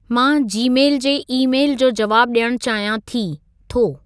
मां जीमेल जे ई-मेल जो जवाबु ॾियणु चाहियां थो/थी